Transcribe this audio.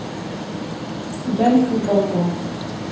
женский балкон